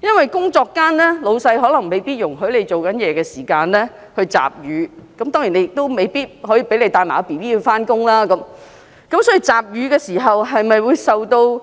因為在工作間老闆未必容許她在工作時間集乳，當然，更未必讓她帶嬰兒上班，因此，集乳時會否受到